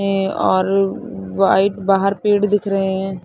और व्हाइट बाहर पेड़ दिख रहे हैं ।